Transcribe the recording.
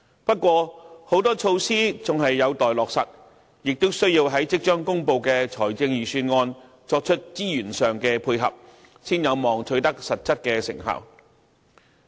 不過，很多措施仍有待落實，亦需要在即將公布的財政預算案作出資源上的配合，才有望取得實質成效。